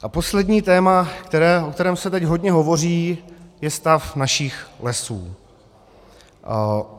A poslední téma, o kterém se teď hodně hovoří, je stav našich lesů.